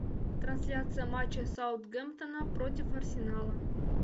трансляция матча саутгемптона против арсенала